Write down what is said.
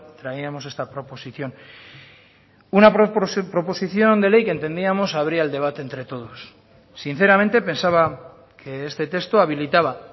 traíamos esta proposición una proposición de ley que entendíamos abría el debate entre todos sinceramente pensaba que este texto habilitaba